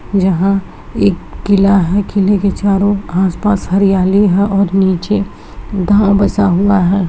यहां एक किला हैकिले के चारों आसपास हरियाली है और नीचे गांव बसा हुआ है।